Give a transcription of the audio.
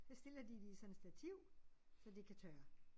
Så stiller de det i sådan et stativ så det kan tørre